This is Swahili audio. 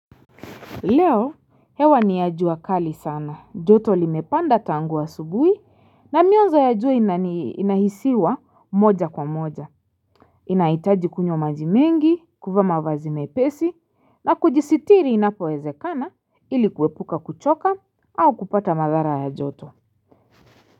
Leo, hewa niya jua kali sana. Joto limepanda tangu wa asubuhi na mionzo ya jua inani hisiwa moja kwa moja. Inahitaji kunywa maji mengi, kuvaa mavazi mepesi na kujisitiri inapowezekana iliku wepuka kuchoka au kupata madhara ya joto.